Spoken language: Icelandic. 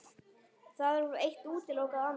Þarf eitt að útiloka annað?